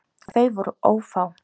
Og þau voru ófá.